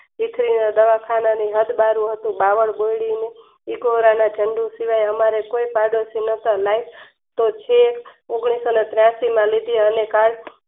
દવાખાનાનું હદબારુ હતું અમારે કોઈ પાડોસી નોતા ઓગણીસો ને ત્યાસીમાં લીધી